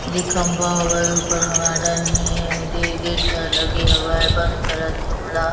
लीखम्बा वायु ऊपर वार्डेन हे एंड गेट लगे हुए हे बंद करो तियोला--